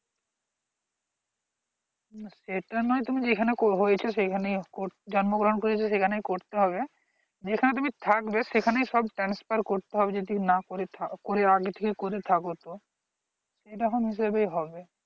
সেটা নয় তুমি যেখানে করবো বলছো সেখানে জন্মগ্রহন করেছো সেখানে করতে হবে যেখানে তুমি থাকবে সেখানে সব transfer করতে হবে যদি না করে থা করে আগে থেকে থাকো তো সেরকম হিসেবে হবে